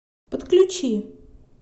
подключи